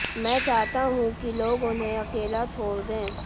मैं चाहता हूं कि लोग उन्हें अकेला छोड़ दें